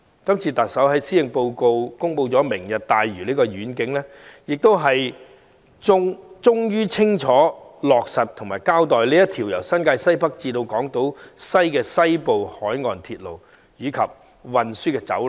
今次特首在施政報告公布"明日大嶼"的願景，終於清楚落實和交代這條由新界西北至港島西的西部海岸鐵路和運輸走廊。